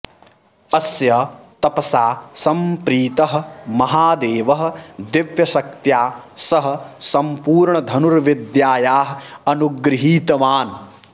अस्य तपसा सम्प्रीतः महादेवः दिव्यशक्त्या सह सम्पूर्णधनुर्विद्यायाः अनुगृहीतवान्